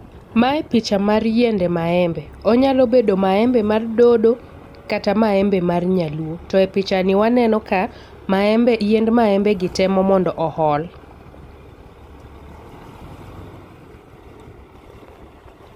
Mae picha mar yiende maembe. Onyalo bedo maembe mar dodo kata maembe mar nyaluo. To e picha ni waneno ka maembe, yiend maembe gi temo mondo ool.